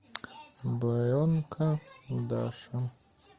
буренка даша